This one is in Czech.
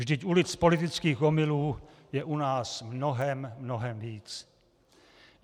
Vždyť ulic politických omylů je u nás mnohem, mnohem víc.